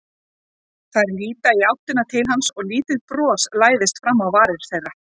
Þær líta í áttina til hans og lítið bros læðist fram á varir þeirra.